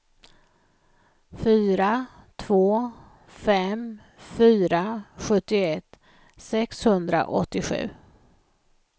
fyra två fem fyra sjuttioett sexhundraåttiosju